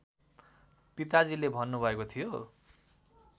पिताजीले भन्नुभएको थियो